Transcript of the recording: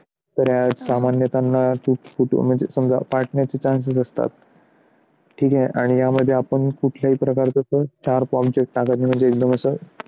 तरी या सामान्यतांना तूट फूट फाटण्याचे म्हणजे समजा फाटण्याचे chances असतात ठीक आहे आणि यामध्ये आपण कुठल्याही प्रकारचं